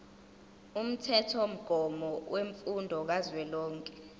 umthethomgomo wemfundo kazwelonke